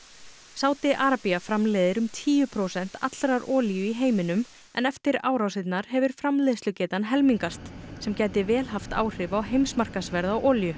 Sádi Arabía framleiðir um tíu prósent allrar olíu í heiminum en eftir árasirnar hefur framleiðslugetan helmingast sem gæti vel haft áhrif á heimsmarkaðsverð á olíu